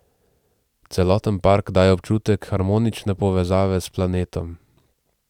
Celoten park daje občutek harmonične povezave s planetom.